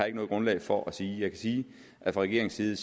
ikke noget grundlag for at sige sige at fra regeringens side